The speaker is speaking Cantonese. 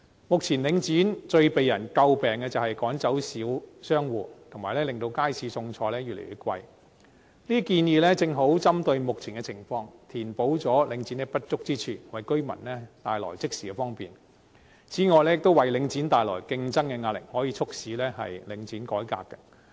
目前領展最為人詬病的是趕走小商戶，以及令街市貨品越來越昂貴，這些建議正好針對目前的情況，填補領展的不足之處，即時為居民帶來方便，亦為領展帶來競爭的壓力，可以促使領展改革。